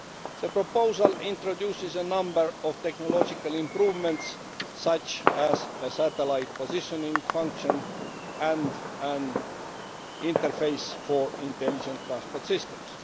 The proposal introduces a number of technological improvements such as a satellite positioning function and an interface for Intelligent Transport Systems.